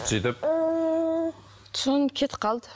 сөйтіп сосын кетіп қалды